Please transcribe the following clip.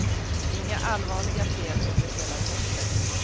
Inga allvarliga fel under hela testet.